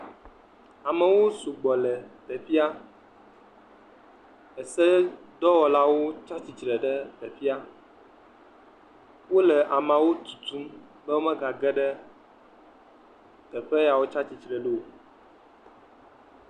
Amewo su gbɔ le teƒea. Esedɔwɔlawo tsi atsitre ɖe teƒea. Wo le ameawo tutu be womega geɖe teƒe ya wotsi atsitre ɖo o.